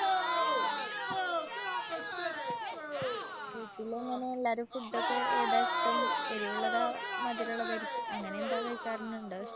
വീട്ടിലെങ്ങനാ എല്ലാരും. food ഒക്കെ ഏതാ ഇഷ്ട്ടം. എരിവുള്ളതോ? മധുരള്ളതായിരിക്കും അങ്ങനെന്തെങ്കിലും കഴിക്കാരുനുണ്ടോ?